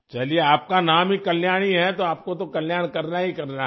चलिए आप का नाम ही कल्याणी है तो आपको तो कल्याण करना ही करना है